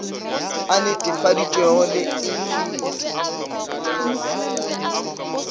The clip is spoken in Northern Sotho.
e netefaditšwego le i khiro